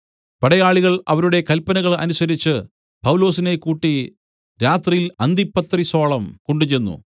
പടയാളികൾ അവരുടെ കല്പനകൾ അനുസരിച്ചു പൗലൊസിനെ കൂട്ടി രാത്രിയിൽ അന്തിപത്രിസോളം കൊണ്ടുചെന്നു